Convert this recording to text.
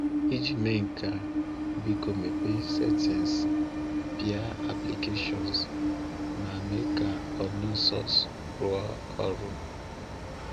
Iji mee nke a, biko mepee *Settings*, pịa *Applications* ma mee ka *Unknown Sources* rụọ ọrụ.